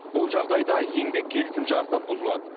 бұл жағдайда еңбек келісімшарты бұзылады